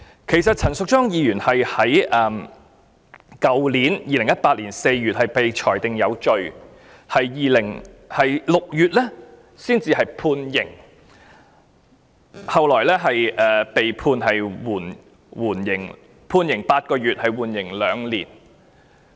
其實陳淑莊議員是在去年4月被裁定有罪，及至6月被判刑，最後被判刑8個月，緩刑2年。